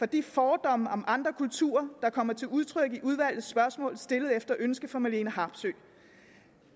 de fordomme om andre kulturer der kommer til udtryk i udvalgets spørgsmål stillet efter ønske fra marlene harpsøe